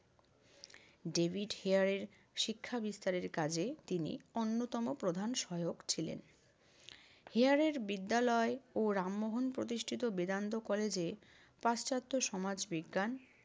David হেয়ারের শিক্ষা বিস্তারের কাজে তিনি অন্যতম প্র্রধান সহায়ক ছিলেন। হেয়ারের বিদ্যালয় ও রামমোহন প্রতিষ্ঠিত বেদান্ত কলেজে পাশ্চাত্য সমাজবিজ্ঞান